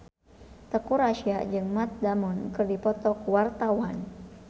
Teuku Rassya jeung Matt Damon keur dipoto ku wartawan